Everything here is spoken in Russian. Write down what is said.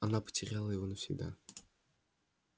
она потеряла его навсегда